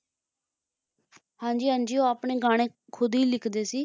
ਹਾਂ ਜੀ ਹਾਂ ਜੀ ਉਹ ਆਪਣੇ ਗਾਣੇ ਖੁਦ ਹੀ ਲਿਖਦੇ ਸੀ